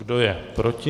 Kdo je proti?